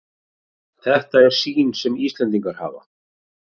Þetta er sýnin sem Íslendingar hafa